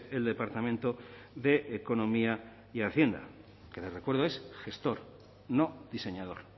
el departamento de economía y hacienda que le recuerdo es gestor no diseñador